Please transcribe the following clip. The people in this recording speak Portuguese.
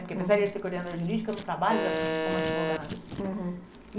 Porque, apesar de ser coordenadora jurídica, eu não trabalho exatamente como advogada. Uhum.